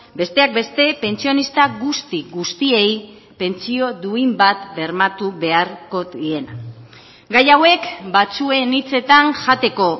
besteak beste pentsionista guzti guztiei pentsio duin bat bermatu beharko diena gai hauek batzuen hitzetan jateko